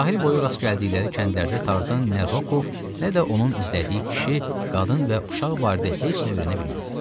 Sahil boyu rast gəldikləri kəndlərdə Tarzan nə Rokov, nə də onun izlədiyi kişi, qadın və uşaq barədə heç nə öyrənə bilmədi.